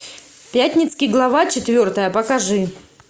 пятницкий глава четвертая покажи